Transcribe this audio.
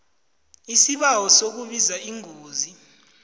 isibawo sokubika ingozi